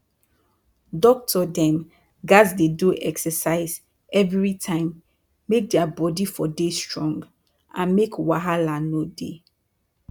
doctor dem gats dey do exercise everi time make dia bodi for dey strong and make wahala no dey